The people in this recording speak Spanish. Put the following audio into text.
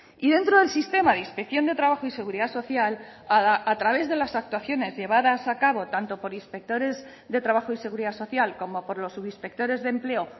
y dentro del sistema de inspección de trabajo y seguridad social a través de las actuaciones llevadas a cabo tanto por inspectores de trabajo y seguridad social como por los subinspectores de empleo